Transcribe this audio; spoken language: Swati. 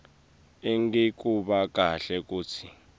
angikuva kahle kutsi